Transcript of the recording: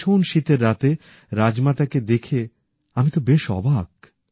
এই ভীষণ শীতের রাতে রাজমাতা কে দেখে আমি তো বেশ অবাক